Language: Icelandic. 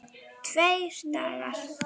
Tveir dagar!